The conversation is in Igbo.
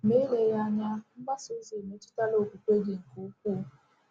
Ma eleghị anya, mgbasa ozi emetụtala okwukwe gị nke ukwuu.